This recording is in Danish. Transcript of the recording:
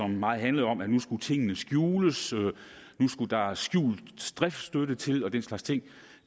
meget handlede om at nu skulle tingene skjules og nu skulle der skjult driftsstøtte til og den slags ting